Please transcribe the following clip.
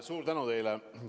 Suur tänu teile!